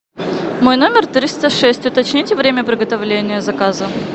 мой номер триста шесть уточните время приготовления заказа